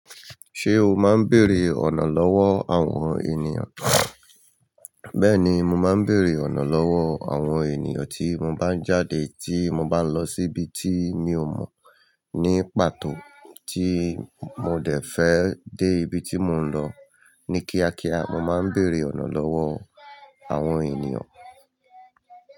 Se o máa n béèrè ọnà lówó awọn ènìyàn? Bẹ́ẹ̀ni, mo máa ń bèrè ọ̀nà lọ́wọ́ àwọn ènìyàn tí mo bá ń jáde tí mo bá ń lọ síbi tí mi ò mọ̀ ní pàtó tí mo dẹ̀ fẹ́ dé ibi tí mò ń lọ. Ní kíákíá, mo máa ń bèrè ọ̀nà lọ́wọ́ àwọn ènìyàn.